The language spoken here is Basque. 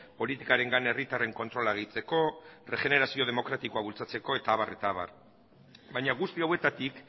politikarengan herritarren kontrola gehitzeko erregenerazio demokratikoa bultzatzeko eta abar baina guzti hauetatik